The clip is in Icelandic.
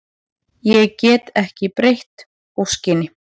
Ég get ekki breytt óskinni.